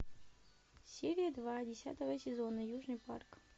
серия два десятого сезона южный парк